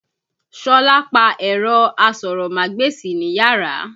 Sọlá pa ẹ̀rọ asọ̀rọ̀mágbèsì níyàrá.